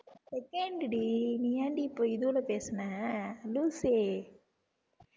second டி நீ ஏன்டி இப்ப இதோட பேசின லூசே